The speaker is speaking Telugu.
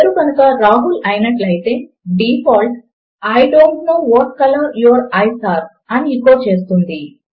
పేరు కనుక రాహుల్ అయినట్లు అయితే default -I don't know what colour your eyes are అని ఎకో చేస్తుంది